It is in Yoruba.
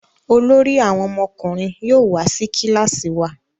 Olórí àwọn ọmọkùnrin yóò wá sí kilasi wá.